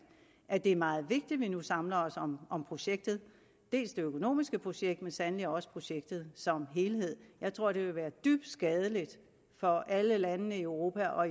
at det er meget vigtigt at vi nu samler os om om projektet det økonomiske projekt men så sandelig også projektet som helhed jeg tror det vil være dybt skadeligt for alle landene i europa og